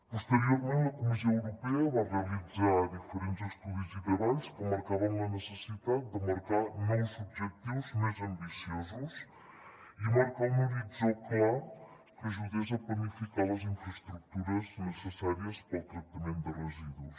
posteriorment la comissió europea va realitzar diferents estudis i treballs que marcaven la necessitat de marcar nous objectius més ambiciosos i marcar un horitzó clar que ajudés a planificar les infraestructures necessàries per al tractament de residus